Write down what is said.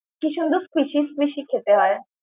কী সুন্দর fishy fishy খেতে হয়।